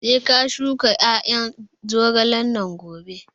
Sai ka shuka ƴaƴan zogalen nan gobe!